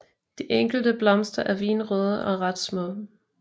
De enkelte blomster er vinrøde og ret små